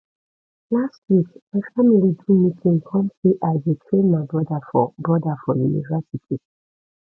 last week my family do meeting come sey i go train my broda for broda for university